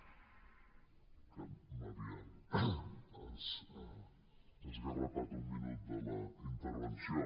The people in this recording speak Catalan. és que m’havien esgarrapat un minut de la intervenció